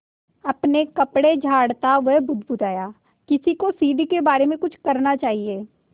अपने कपड़े झाड़ता वह बुदबुदाया किसी को सीढ़ी के बारे में कुछ करना चाहिए